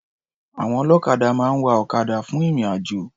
Àwọn ọlọ́kadà máa ń wa ọ̀kadà fún ìrìn-àjò.